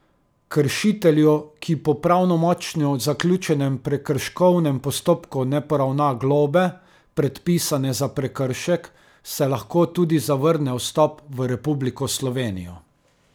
Kršitelju, ki po pravnomočno zaključenem prekrškovnem postopku ne poravna globe, predpisane za prekršek, se lahko tudi zavrne vstop v Republiko Slovenijo.